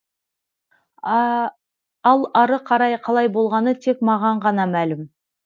ал ары қарай қалай болғаны тек маған ғана мәлім